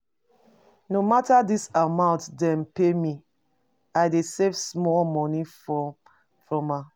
No mata di amount dem pay me, I dey save small moni from am.